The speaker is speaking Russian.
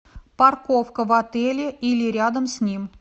парковка в отеле или рядом с ним